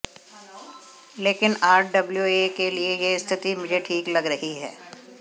लेकिन आरडब्ल्यूए के लिए यह स्थिति मुझे ठीक लग रही है